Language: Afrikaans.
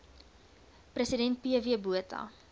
president pw botha